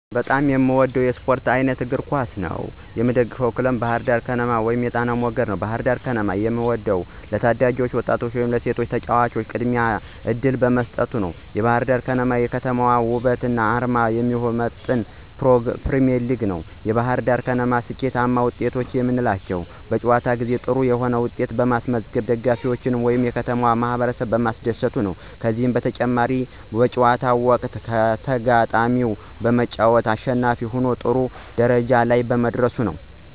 በጣም የምወደው የስፖርት አይነት የእግር ኳስ መጫወት ነው። የምደግፈው ክለብ ባህርዳር ከነማን ወይም የጣናው መገድ ነው። ባህርዳር ከነማን የምወደው ለታዳጊ ወጣቶች ወይም ለሴቶች ተጫዋቾች ቅድሚያ እድል በመስጠት ነዉ። የባህርዳር ከነማ የከተማዋን ወበትና አርማ የሚመጥን ፕሪሚዬርሊግ ነው። የባህርዳር ከነማ ስኬታማ ወጤቶች የምንላቸው በጨዋታ ጊዜ ጥሩ የሆነ ዉጤት በማስመዝገብ ደጋፊዎችን ወይም የከተማውን ማህበረሰብ ማስደሰቱ ነዉ። ከዚህም በተጨማሪ በጨዋታው ወቅት ከተጋጣሚው በመጫወት አሸናፊ ሁኖ ጥሩ ደረጃ ላይ መድረሱ ነው።